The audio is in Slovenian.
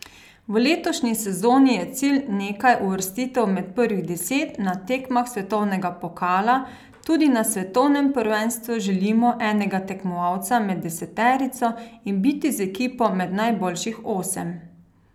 V letošnji sezoni je cilj nekaj uvrstitev med prvih deset na tekmah svetovnega pokala, tudi na svetovnem prvenstvu želimo enega tekmovalca med deseterico in biti z ekipo med najboljših osem.